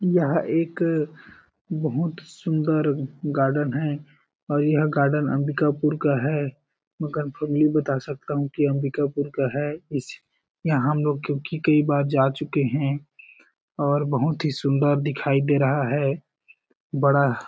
यहाँ एक बहुत सुंदर गार्डन है और यहँ गार्डन अंबिकापुर का है मगर फुल नहीं बता सकता हु की अंधका पुर का है इस यहाँ हम लोग क्यूंकि कही बार जा चुके है और बहुत ही सुन्दर दिखाई दे रहा है। बड़ा --